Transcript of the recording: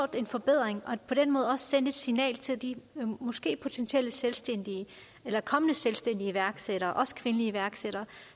en forbedring og på den måde også sendt et signal til de potentielle selvstændige eller kommende selvstændige og iværksættere også kvindelige iværksættere